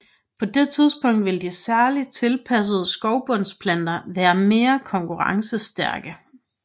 På det tidspunkt vil de særligt tilpassede skovbundsplanter være mere konkurrencestærke